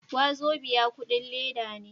Wazobia kudin leda ne.